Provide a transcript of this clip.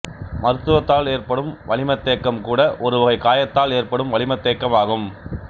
மருத்துவத்தால் ஏற்படும் வளிமத்தேக்கம் கூட ஒருவகை காயத்தால் ஏற்படும் வளிமத்தேக்கம் ஆகும்